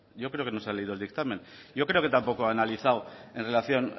yo creo que no se ha leído el dictamen yo creo que tampoco ha analizado en relación